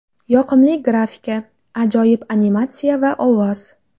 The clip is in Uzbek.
Yoqimli grafika, ajoyib animatsiya va ovoz.